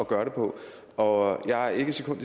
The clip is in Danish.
gøre det på og jeg er ikke et sekund